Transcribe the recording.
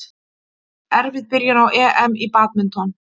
Erfið byrjun á EM í badminton